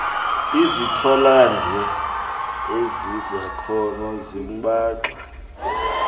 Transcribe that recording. izithwalandwe ezizakhono zimbaxa